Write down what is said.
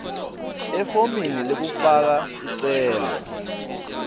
efomini lekufaka sicelo